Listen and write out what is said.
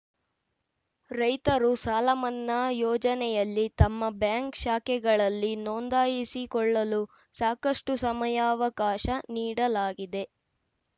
ರೈತರು ಸಾಲಮನ್ನಾ ಯೋಜನೆಯಲ್ಲಿ ತಮ್ಮ ಬ್ಯಾಂಕ್‌ ಶಾಖೆಗಳಲ್ಲಿ ನೋಂದಾಯಿಸಿಕೊಳ್ಳಲು ಸಾಕಷ್ಟುಸಮಯಾವಕಾಶ ನೀಡಲಾಗಿದೆ